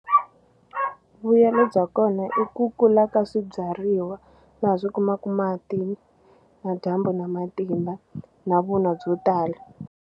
Vuyelo bya kona i ku kula ka swibyariwa laha swi kumaku mati na dyambu na matimba na vun'wa byo tala.